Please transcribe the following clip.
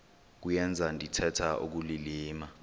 kuyenza ndithetha ukulilima